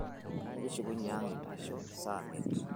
ekishunye ang' eitasho saa miet